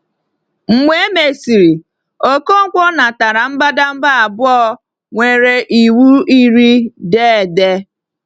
Mgbe e mesịrị, Ọkọnkwo natara mbadamba abụọ nwere Iwu Iri dee ede.